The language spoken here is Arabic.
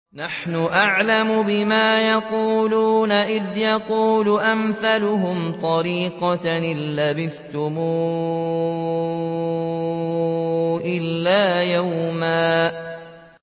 نَّحْنُ أَعْلَمُ بِمَا يَقُولُونَ إِذْ يَقُولُ أَمْثَلُهُمْ طَرِيقَةً إِن لَّبِثْتُمْ إِلَّا يَوْمًا